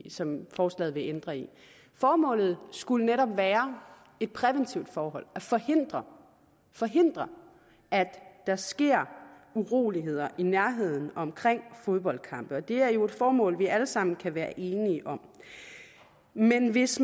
som forslaget vil ændre i formålet skulle netop være et præventivt forhold at forhindre forhindre at der sker uroligheder i nærheden og omkring fodboldkampe og det er jo et formål vi alle sammen kan være enige om men hvis